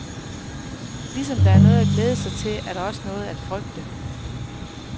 Ligesom der er noget at glæde sig til, er der også noget at frygte.